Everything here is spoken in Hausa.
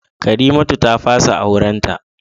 Karimatu ta fasa aurenta